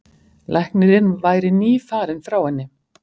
Læknirinn væri nýfarinn frá henni.